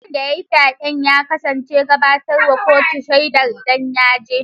Wanda yayi fyaɗe ya kasa gabatar wa kuto shaidar ida yaje.